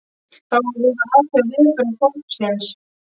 Þá var verið að athuga viðbrögð fólksins.